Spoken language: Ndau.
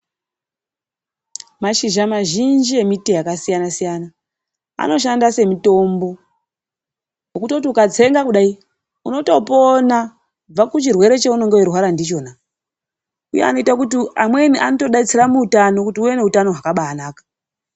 Mashizha mazhinji emiti yakasiyana-siyana anoshanda semitombo wokutoti ukatsenga kudai, unotopona kubva kuchirwere chaunenge uchirwara nakona. Amweni anodetsera neutano kuti ubane utano hwakanaka.